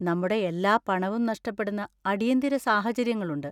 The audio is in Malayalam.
നമ്മുടെ എല്ലാ പണവും നഷ്ടപ്പെടുന്ന അടിയന്തിര സാഹചര്യങ്ങളുണ്ട്.